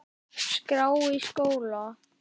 skrá í skóla?